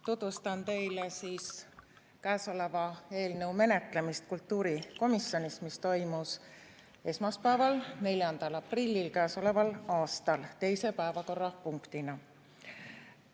Tutvustan teile käesoleva eelnõu menetlemist kultuurikomisjonis, mis toimus esmaspäeval, 4. aprillil käesoleval aastal teise päevakorrapunktina.